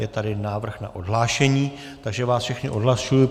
Je tedy návrh na odhlášení, takže vás všechny odhlašuji.